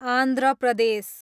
Andhra Pradesh